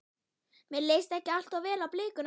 Mér leist ekki allt of vel á blikuna.